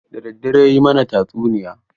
Da daddare ya yi mana tatsuniya.